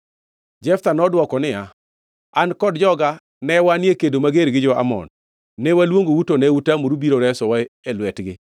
Jeftha nodwoko niya, An kod joga ne wanie kedo mager gi jo-Amon, ne waluongou to ne utamoru biro resowa e lwetgi.